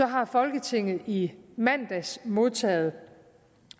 har folketinget i mandags modtaget